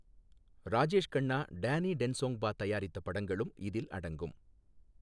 ராஜேஷ் கன்னா, டேனி டென்சோங்பா தயாரித்த படங்களும் இதில் அடங்கும்.